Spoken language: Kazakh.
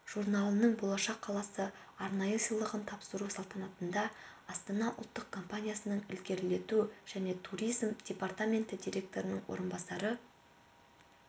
журналының болашақ қаласы арнайы сыйлығын тапсыру салтанатында астана ұлттық компаниясының ілгерілету және туризм департаменті директорының орынбасары